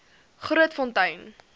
grootfontein